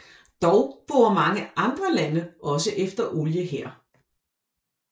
Dog borer mange andre lande også efter olie her